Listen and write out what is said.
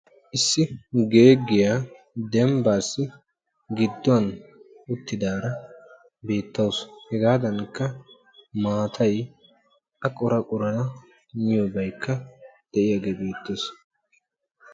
Issi geeggiya dembbaassi bgidduwan uttidaara beettawusu. Hegaadankka maatay A qora qorafa miyobaykka de'iyagee beettees.